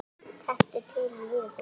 Taktu til í lífi þínu!